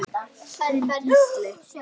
Þinn Gísli.